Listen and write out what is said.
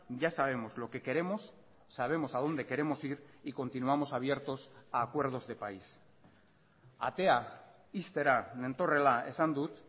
ya sabemos lo que queremos sabemos a dónde queremos ir y continuamos abiertos a acuerdos de país atea ixtera nentorrela esan dut